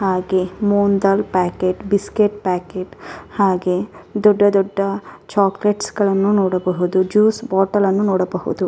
ಹಾಗೆ ಮೂಂಗ್ ದಾಲ್ ಪ್ಯಾಕೇಟ್ ಬಿಸ್ಕೆಟ್ ಪ್ಯಾಕೇಟ್ ಹಾಗೆ ದೊಡ್ಡ ದೊಡ್ಡ ಚೋಕ್ಲೇಟ್ಸ್ ಗಳನ್ನು ನೋಡಬಹುದು ಜ್ಯೂಸ್ ಬೋಟಲನ್ನು ನೋಡಬಹುದು.